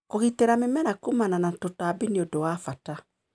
Kũgitĩra mĩmera kumana na tũtambi nĩ ũndũ wa bata.